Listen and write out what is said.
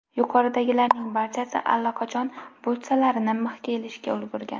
Yuqoridagilarning barchasi allaqachon butsalarini mixga ilishga ulgurgan.